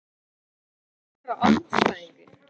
Hvernig er best að pirra andstæðinginn?